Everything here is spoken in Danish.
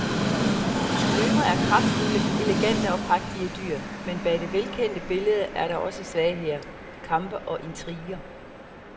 Løver er kraftfulde, elegante og prægtige dyr, men bag det velkendte billede er der også svagheder, kampe og intriger.